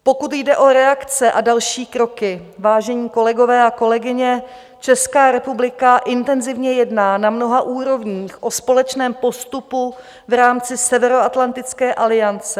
Pokud jde o reakce a další kroky, vážení kolegové a kolegyně, Česká republika intenzivně jedná na mnoha úrovních o společném postupu v rámci Severoatlantické aliance.